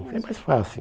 É mais fácil.